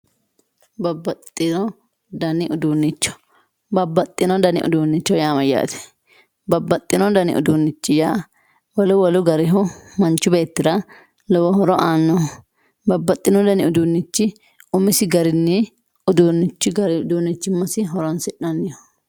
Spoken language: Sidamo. Babaxitino dani udunichi babaxino dani udunicho ya mayate babaxino dani udunichi ya wolu wolu garihu manchi betira lowi hori anohi babaxino dani udunichi umisi gari udunichimasi horonsinaniho